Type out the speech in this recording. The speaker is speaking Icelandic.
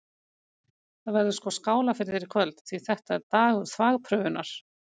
Það verður sko skálað fyrir þér í kvöld, því þetta er dagur þvagprufunnar!